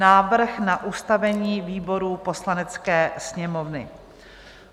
Návrh na ustavení výborů Poslanecké sněmovny